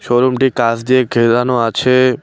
শোরুমটি কাঁচ দিয়ে ঘেরানো আছে।